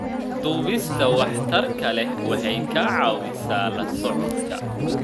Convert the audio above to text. Duubista waxtarka leh waxay ka caawisaa la socodka.